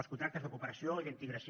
els contractes de cooperació i d’integració